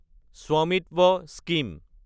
Svamitva scheme